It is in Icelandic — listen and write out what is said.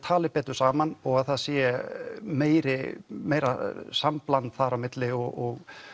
tali betur saman og það sé meira meira sambland þar á milli og